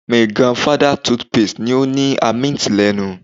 Mi grandfather toothpaste ni o ni a minty lenu